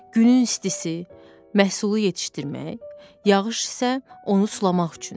Günün istisi məhsulu yetişdirmək, yağış isə onu sulamaq üçündür.